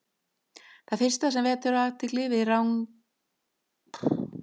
Það fyrsta sem vekur athygli við ranakollur er röð gadda eftir endilöngu bakinu.